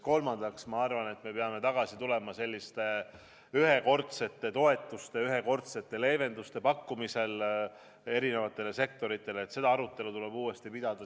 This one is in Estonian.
Kolmandaks, ma arvan, me peame tagasi tulema selliste ühekordsete toetuste, ühekordsete leevenduste pakkumise juurde eri sektoritele, sh turismisektorile.